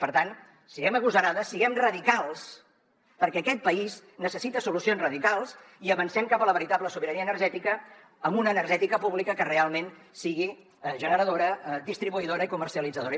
per tant siguem agosarades siguem radicals perquè aquest país necessita solucions radicals i avancem cap a la veritable sobirania energètica amb una energètica pública que realment sigui generadora distribuïdora i comercialitzadora